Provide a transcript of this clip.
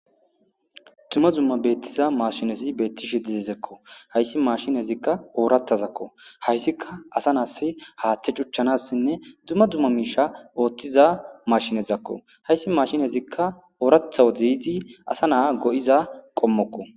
Duma duma betiza mashinezi betishe dizeziko haysi mashinnezika orathazako haysika asa nasi hatha c'uchanasnne duma duma misha othiza mashinezako haysi mashinnezika oratha wode yidi asa na'a go'iza qomokko.